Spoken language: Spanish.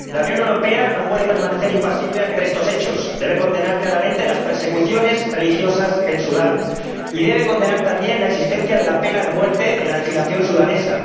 La Unión Europea no puede permanecer impasible ante estos hechos. Debe condenar claramente las persecuciones religiosas en Sudán y debe condenar, también, la existencia de la pena de muerte en la legislación sudanesa.